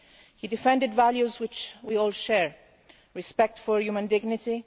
He defended values which we all share respect for human dignity